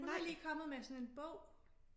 Hun er lige kommet med sådan en bog